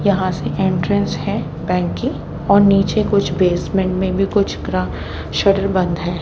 यहां से एंट्रेंस है बैंक की और नीचे कुछ बेसमेंट में भी कुछ ग्रा शटर बंद है।